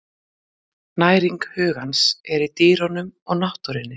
Næring hugans er í dýrunum og náttúrunni.